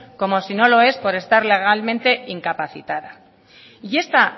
como si no lo es por estar legalmente incapacitada y esta